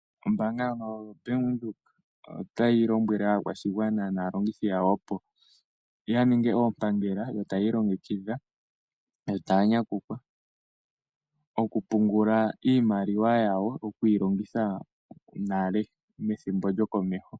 Ombaanga yaBank Windhoek otayi lombwele aakwashigwana naalongithi yawo opo yaninge oompangela, yo tayii longekidha nokunyanyukwa okupungula iimaliwa yawo yawape okuyi longitha methimbo lyonale.